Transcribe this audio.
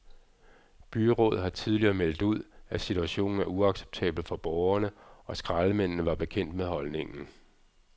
Byrådet har tidligere meldt ud, at situationen er uacceptabel for borgerne, og skraldemændene var bekendt med holdningen.